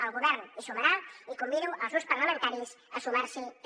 el govern hi sumarà i convido els grups parlamentaris a sumar s’hi també